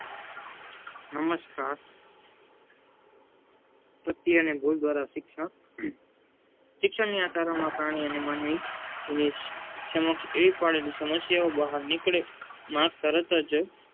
નમષ્કાર પ્રતિ અને ભૂલ દ્વારા શિક્ષણ. શિક્ષણની આ કારણ માં પ્રાણી અને માનવી સમક્ષ એવી પડેલી સમસ્યાઓ બહાર નીકળેમાં તરત જ